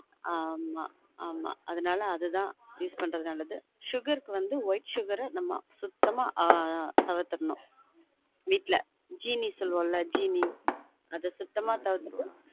on ஆமா ஆமா அதுனால அது தான் use பண்றது நல்லது sugar க்கு வந்து white sugar அ நம்ம சுத்தமா ஆஹ் தவிர்த்தரனும்வீட்ல சீனி சொல்லுவொலான் சீனி அத சுத்தமா தவிர்த்திட்டு